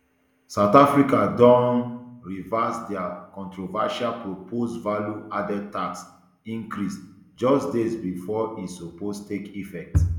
south africa don um reverse dia controversial proposed value added tax increase just days bifor e suppose take effect